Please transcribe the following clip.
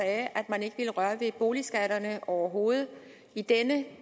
at man ikke ville røre ved boligskatterne overhovedet i denne